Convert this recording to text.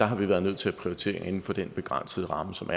har vi været nødt til at prioritere inden for den begrænsede ramme som